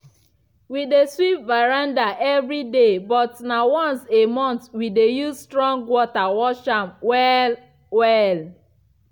we dey sweep veranda evri day but na once a month we dey use strong water wash am well-well.